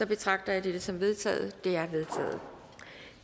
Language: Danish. betragter jeg dette som vedtaget